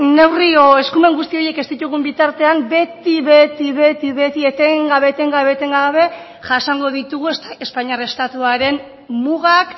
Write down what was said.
neurri o eskumen guzti horiek ez ditugun bitartean beti beti beti eten gabe eten gabe eten gabe jasango ditugu espainiar estatuaren mugak